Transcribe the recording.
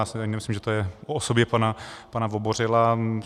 Já si ani nemyslím, že to je o osobě pana Vobořila.